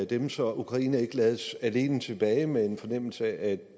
dem så ukraine ikke lades alene tilbage med en fornemmelse af